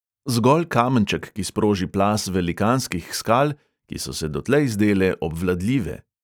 Zgolj kamenček, ki sproži plaz velikanskih skal, ki so se dotlej zdele obvladljive.